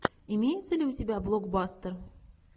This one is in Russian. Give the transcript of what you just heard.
имеется ли у тебя блокбастер